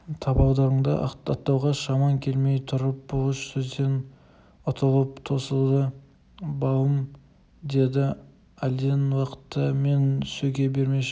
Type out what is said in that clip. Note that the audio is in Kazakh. табалдырығыңды аттатуға шамаң келмей тұрып бұлыш сөзден ұтылып тосылды балым деді әлден уақытта мені сөге бермеші